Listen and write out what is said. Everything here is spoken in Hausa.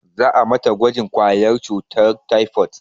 Za a mata gwajin ƙwayar cutar taifot